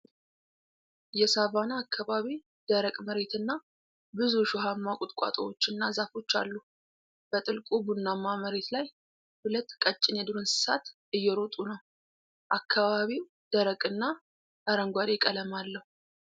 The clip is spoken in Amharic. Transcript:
የሳቫና አካባቢ ደረቅ መሬትና ብዙ እሾሃማ ቁጥቋጦዎችና ዛፎች አሉ። በጥልቁ ቡናማ መሬት ላይ ሁለት ቀጭን የዱር እንስሳት እየሮጡ ነው። አካባቢው ደረቅና አረንጓዴ ቀለም አለው።